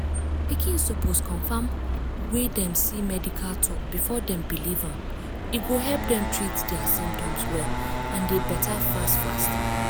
pikin suppose confam wey dem see medical talk before dem believe am e go help dem treat dia symptoms well and dey better fast fast.